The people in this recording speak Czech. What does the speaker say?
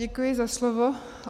Děkuji za slovo.